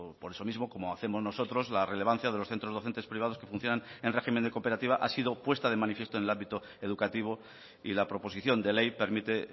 por eso mismo como hacemos nosotros la relevancia de los centros docentes privados que funcionan en régimen de cooperativa ha sido puesta de manifiesta en el ámbito educativo y la proposición de ley permite